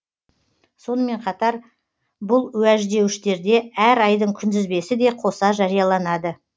сонымен қатар бұл уәждеуіштерде әр айдың күнтізбесі де қоса жарияланады